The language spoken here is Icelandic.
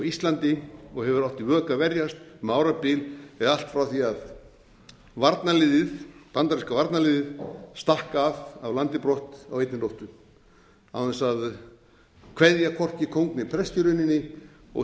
íslandi og hefur átt í vök að verjast um árabil eða allt frá því varnarliðið bandaríska varnarliðið stakk af af landi brott á einni nóttu án þess að kveðja hvorki kóng né prest í rauninni og